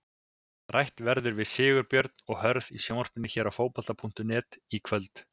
Rætt verður við Sigurbjörn og Hörð í sjónvarpinu hér á Fótbolta.net í kvöld.